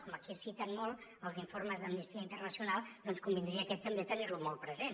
com aquí es citen molt els informes d’amnistia internacional doncs convindria aquest també tenir lo molt present